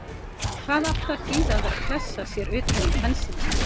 Hvað átti að þýða að vera að klessa sér utan í pensilinn!